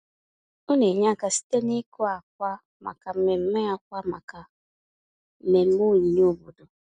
Ọ na-enye aka site n’ịkụ akwa maka mmemme akwa maka mmemme onyinye obodo.